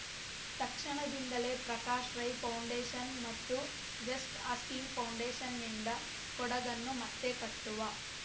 ತಕ್ಷಣದಿಂದಲೇ ಪ್ರಕಾಶ್‌ ರೈ ಫೌಂಡೇಷನ್‌ ಮತ್ತು just asking ಫೌಂಡೇಷನ್‌ನಿಂದ ಕೊಡಗನ್ನು ಮತ್ತೆ ಕಟ್ಟುವ